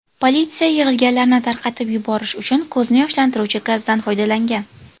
Politsiya yig‘ilganlarni tarqatib yuborish uchun ko‘zni yoshlantiruvchi gazdan foydalangan.